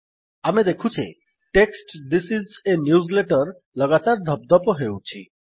ଆମେ ଦେଖୁଛେ text this is a newsletter ଲଗାତାର ଧପଧପ ହେଉଛି